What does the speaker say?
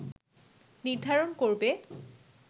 নির্ধারণ করবে